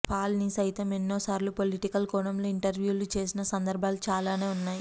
Paul ని సైతం ఎన్నో సార్లు పొలిటికల్ కోణంలో ఇంటర్వ్యూ లు చేసిన సందర్భాలు చాలానే ఉన్నాయి